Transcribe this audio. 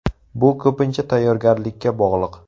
Bu ko‘pincha tayyorgarlikka bog‘liq.